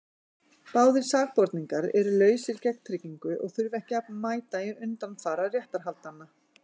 Báðir sakborningar eru lausir gegn tryggingu og þurfa ekki að mæta í undanfara réttarhaldanna.